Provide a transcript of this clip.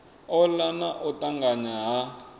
ola na u tanganya ha